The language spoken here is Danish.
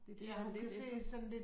Det det at hun kan det til